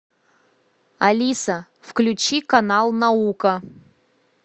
алиса включи канал наука